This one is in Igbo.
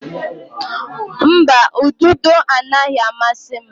Mba, ududo anaghị amasị m.